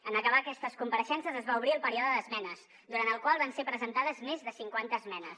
en acabar aquestes compareixences es va obrir el període d’esmenes durant el qual van ser presentades més de cinquanta esmenes